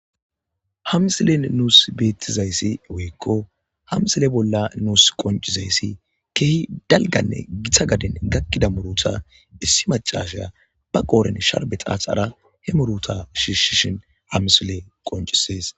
hamisilen nuus beettizayssi woykko hamsile bolla nuus qoncizayssi kehi dalganne gita gaden gakkida muruta issi macashya ba qooren sharbe xaaxara he muruta shiishshishin hamisile qoncisees